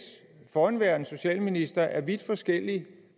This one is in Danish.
forhenværende socialministre af vidt forskellig